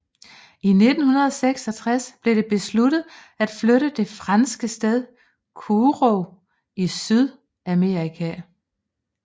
I 1966 blev det besluttet at flytte til det franske sted Kourou i Sydamerika